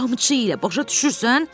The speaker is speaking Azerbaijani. Qamçı ilə, başa düşürsən?